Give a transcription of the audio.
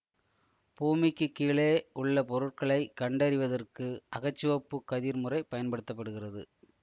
பூமிக்குக் கீழே உள்ள பொருட்களை கண்டறிவதற்கு அகச்சிவப்பு கதிர் முறை பயன்படுத்த படுகிறது